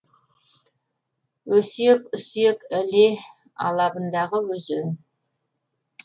өсек үсек іле алабындағы өзен